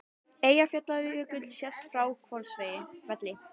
Eyjafjallajökull sést frá Hvolsvelli.